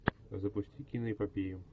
запусти киноэпопею